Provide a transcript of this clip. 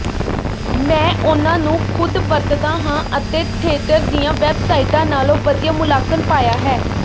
ਮੈਂ ਉਨ੍ਹਾਂ ਨੂੰ ਖੁਦ ਵਰਤਦਾ ਹਾਂ ਅਤੇ ਥੀਏਟਰ ਦੀਆਂ ਵੈੱਬਸਾਈਟਾਂ ਨਾਲੋਂ ਵਧੀਆ ਮੁਲਾਂਕਣ ਪਾਇਆ ਹੈ